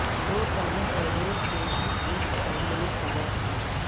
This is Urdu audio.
دو تہوں پہلے سے ہی ایک کٹوری میں سجا دیئے